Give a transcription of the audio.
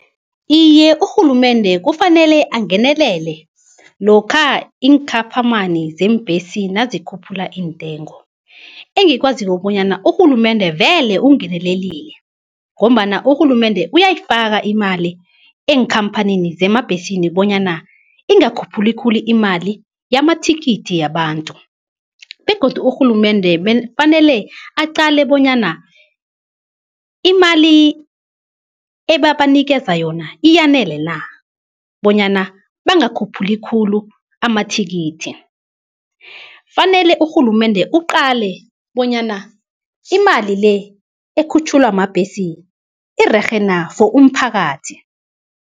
Iye, urhulumende kufanele angenelele lokha iinkhaphamani zeembhesi nazikhuphula iintengo. Engikwaziko bonyana urhulumende vele ungenelelile, ngombana urhulumende uyayifaka imali enkhamphanini zemabhesini bonyana ingakhuphuki khulu imali yamathikithi yabantu. Begodu urhulumende fanele aqale bonyana imali ebabanikeza yona iyanele na, bonyana bangakhuphuli khulu amathikithi. Fanele urhulumende aqale bonyana imali le ekhutjhulwa mabhesi irerhe na for umphakathi.